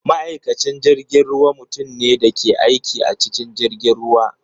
Ma’aikacin jirgin ruwa mutum ne da ke aiki a cikin jirgin ruwa.